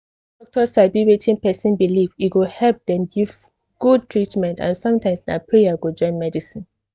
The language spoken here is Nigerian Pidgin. if doctor sabi wetin person believe e go help dem give good treatment and sometimes na prayer go join medicine